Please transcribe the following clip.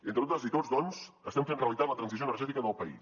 entre totes i tots doncs estem fent realitat la transició energètica del país